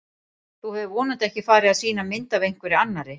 Þú hefur vonandi ekki farið að sýna mynd af einhverri annarri!